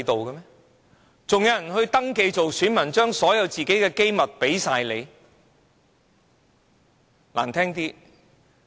還有人會登記當選民，把自己所有的機密給你嗎？